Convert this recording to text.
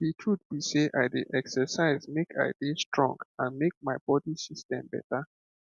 the truth be sey i dey exercise make i dey strong and make my body system better